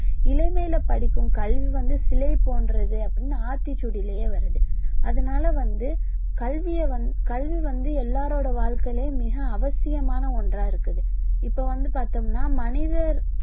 இளமையில படிக்கும் கல்வி வந்து சிலை போன்றது அப்படின்னு ஆத்திச்சூடியிலயே வருது அதனால வந்து கல்விய வந்~ கல்வி வந்து எல்லாருடைய வாழ்க்கையிலும் மிக அவசியமான ஒண்றா இருக்குது இப்போ வந்து பார்த்தோம்னா மனிதர்